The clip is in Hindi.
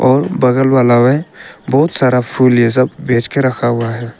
और बगल वाला में बहुत सारा फूल ये सब बेच के रखा हुआ है।